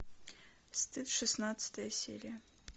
стыд шестнадцатая серия